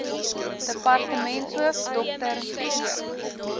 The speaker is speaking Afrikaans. departementshoof dr g